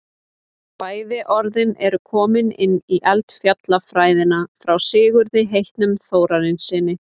bæði orðin eru komin inn í eldfjallafræðina frá sigurði heitnum þórarinssyni